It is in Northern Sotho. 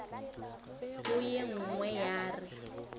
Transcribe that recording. wo ye nngwe ya re